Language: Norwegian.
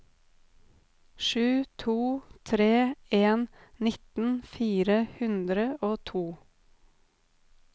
sju to tre en nittien fire hundre og to